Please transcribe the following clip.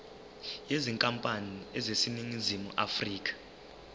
yenkampani eseningizimu afrika